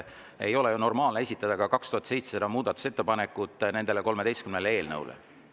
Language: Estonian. Ei ole ju normaalne esitada ka 2700 muudatusettepanekut nende 13 eelnõu kohta.